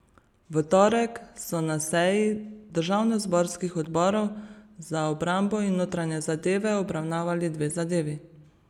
V torek so na seji državnozborskih odborov za obrambo in notranje zadeve obravnavali dve zadevi.